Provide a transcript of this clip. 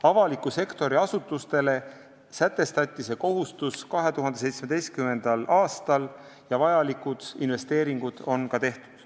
Avaliku sektori asutustele sätestati see kohustus 2017. aastal ja vajalikud investeeringud on ka tehtud.